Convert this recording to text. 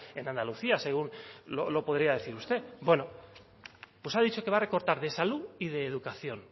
en andalucía según lo podría decir usted bueno pues ha dicho que va a recortar de salud y de educación